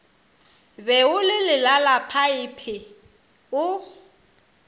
be o le lelalaphaephe o